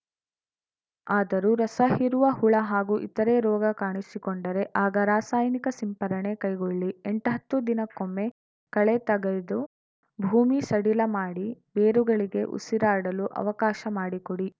ಆದರೂ ರಸ ಹೀರುವ ಹುಳ ಹಾಗೂ ಇತರೆ ರೋಗ ಕಾಣಿಸಿಕೊಂಡರೆ ಆಗ ರಾಸಾಯನಿಕ ಸಿಂಪರಣೆ ಕೈಗೊಳ್ಳಿ ಎಂಟ್ಹತ್ತು ದಿನಕ್ಕೊಮ್ಮೆ ಕಳೆ ತಗೆದು ಭೂಮಿ ಸಡಿಲ ಮಾಡಿ ಬೇರುಗಳಿಗೆ ಉಸಿರಾಡಲು ಅವಕಾಶ ಮಾಡಿಕೊಡಿ